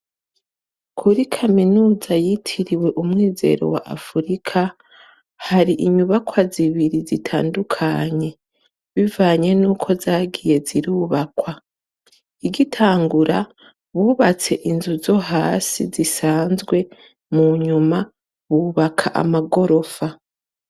Kuri kaminuza yitiriwe umwizero wa africa hari inyubakwa zibiri zitandukanye bivanye nuko zagiye zirubakwa igitangura bubatse inzu zohasi zisanzwe munyuma bubaka amagorofa